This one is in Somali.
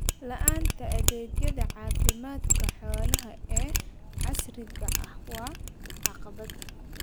La'aanta adeegyada caafimaadka xoolaha ee casriga ah waa caqabad.